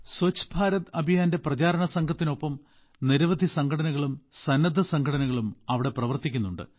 സ്വച്ഛ് ഭാരത് അഭിയാന്റെ പ്രചാരണ സംഘത്തിനൊപ്പം നിരവധി സംഘടനകളും സന്നദ്ധ സംഘടനകളും അവിടെ പ്രവർത്തിക്കുന്നു